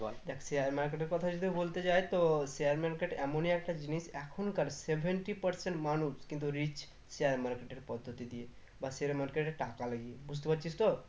দেখ share market এর কথা যদি বলতে যাই তো share market এমনি একটা জিনিস এখনকার seventy percent মানুষ কিন্তু rich share market এর পদ্ধতি দিয়ে বা share market এ টাকা লাগিয়ে বুঝতে পারছিস তো